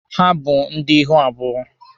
Ha bụ ndị ihu abụọ.